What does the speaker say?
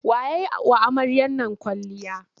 Wa ya yi wa amaryar nan kwalliya?